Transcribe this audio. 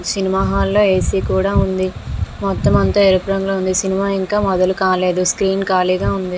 Cinema hall లో AC కూడా ఉంది. మొత్తం అంతా ఎరుపు రంగులో ఉంది. సినిమా ఇంకా మొదలు కాలేదు. స్క్రీన్ కాలీగ ఉంది.